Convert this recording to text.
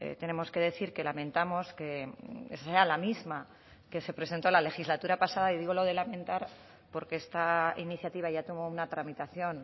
tenemos que decir que lamentamos que sea la misma que se presentó la legislatura pasada y digo lo de lamentar porque esta iniciativa ya tuvo una tramitación